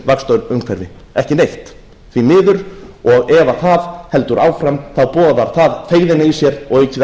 vaxtaumhverfi ekki neitt því miður ef það heldur áfram boðar það feigðina í sér og aukið